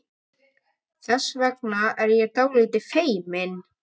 ERU FRAMARAR AÐ HIRÐA STIGIN ÞRJÚ??